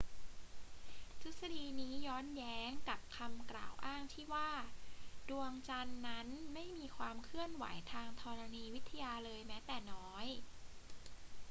ทฤษฎีนี้ย้อนแย้งกับคำกล่าวอ้างที่ว่า ดวงจันทร์นั้นไม่มีความเคลื่อนไหวทางธรณีวิทยาเลยแม้แต่น้อย